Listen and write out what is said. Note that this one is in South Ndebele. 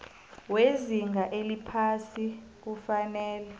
wezinga eliphasi kufanele